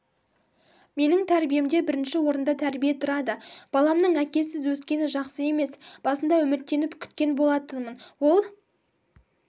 менің тәрбиемде бірінші орында тәрбие тұрады баламның әкесіз өскені жақсы емес басында үміттеніп күткен болатынмын ол